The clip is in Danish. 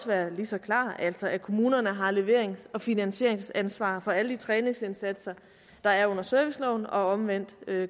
være lige så klart altså at kommunerne har leverings og finansieringsansvaret for alle de træningsindsatser der er under serviceloven og det omvendte